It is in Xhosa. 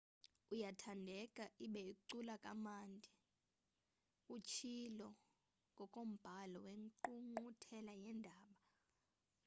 uyathandeka ibe ucula kamandi utshilo ngokombhalo wengqungquthela yeendaba